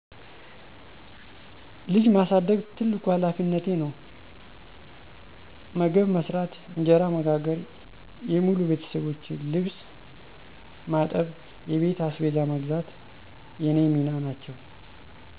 ልጅ ማሳደግ ትልቁ ሀላፊነቴ ነው። መግብ መስራት፣ እንጀራ መጋገር፣ የሙሉ ቤተሠቦቼን ልብስ ማጠብ፣ የቤት አስቤዛ መግዛት የኔ ሚና ናቸው።